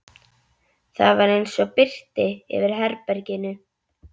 Það var eins og birti yfir herberginu.